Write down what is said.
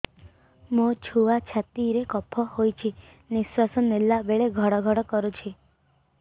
ମୋ ଛୁଆ ଛାତି ରେ କଫ ହୋଇଛି ନିଶ୍ୱାସ ନେଲା ବେଳେ ଘଡ ଘଡ କରୁଛି